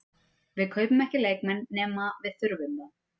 Við kaupum ekki leikmenn nema við þurfum þá.